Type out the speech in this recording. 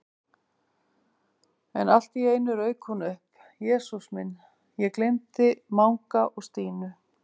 En allt í einu rauk hún upp: Jesús minn, ég gleymdi Manga og Stínu